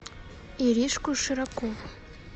иришку широкову